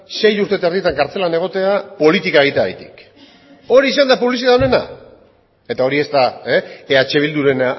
sei urte eta erditan kartzelan egotea politika egiteagatik hori izan da publizitate onena eta hori ez da eh bilduren